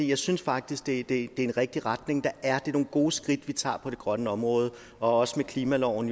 jeg synes faktisk det det er en rigtig retning der er det er nogle gode skridt vi tager på det grønne område også med klimaloven